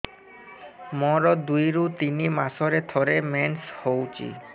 ମୋର ଦୁଇରୁ ତିନି ମାସରେ ଥରେ ମେନ୍ସ ହଉଚି